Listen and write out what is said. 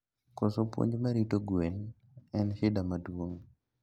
Koso puonj mar rito gwen en shida maduong